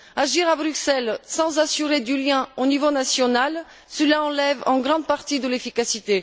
Agir à Bruxelles sans s'assurer du lien au niveau national, cela enlève une grande partie de l'efficacité.